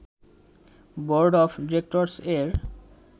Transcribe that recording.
board of directors এর